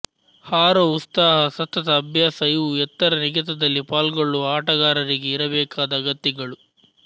ಹಾರುವ ಉತ್ಸಾಹ ಸತತ ಅಭ್ಯಾಸ ಇವು ಎತ್ತರ ನೆಗೆತದಲ್ಲಿ ಪಾಲ್ಗೊಳ್ಳುವ ಆಟಗಾರರಿಗೆ ಇರಬೇಕಾದ ಅಗತ್ಯಗಳು